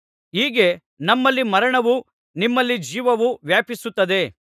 ಹೀಗೆ ನಮ್ಮಲ್ಲಿ ಮರಣವು ನಿಮ್ಮಲ್ಲಿ ಜೀವವು ವ್ಯಾಪಿಸುತ್ತಿದೆ